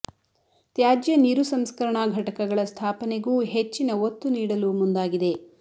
ತ್ಯಾಜ್ಯ ನೀರು ಸಂಸ್ಕರಣಾ ಘಟಕಗಳ ಸ್ಥಾಪನೆಗೂ ಹೆಚ್ಚಿನ ಒತ್ತು ನೀಡಲು ಮುಂದಾಗಿದೆ